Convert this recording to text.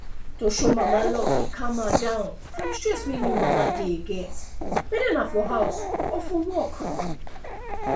to show mama love fit calm her down from stress wey new mama dey getwhether na for house or for work